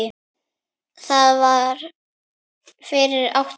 Það var fyrir átta árum